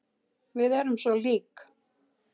Við erum svo lík.